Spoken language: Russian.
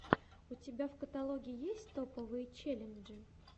у тебя в каталоге есть топовые челленджи